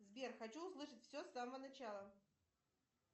сбер хочу услышать все с самого начала